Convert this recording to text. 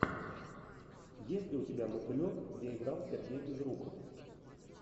есть ли у тебя мотылек где играл сергей безруков